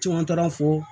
Caman taara fɔ